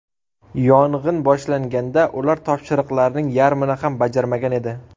Yong‘in boshlanganda ular topshiriqlarning yarmini ham bajarmagan edi.